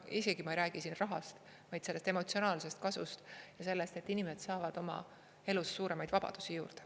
Isegi ma ei räägi siin rahast, vaid sellest emotsionaalsest kasust ja sellest, et inimesed saavad oma elus suuremaid vabadusi juurde.